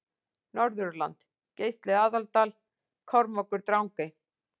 Norðurland Geisli Aðaldal Kormákur Drangey